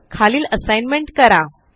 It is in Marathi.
खालील असाइनमेंट करा